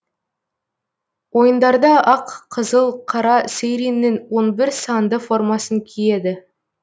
ойындарда ақ қызыл қара сэйриннің он бір санды формасын киеді